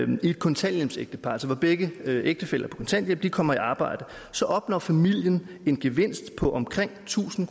i et kontanthjælpsægtepar altså hvor begge ægtefæller er på kontanthjælp kommer i arbejde så opnår familien en gevinst på omkring tusind